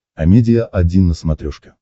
амедиа один на смотрешке